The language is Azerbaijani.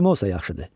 Kim olsa yaxşıdı.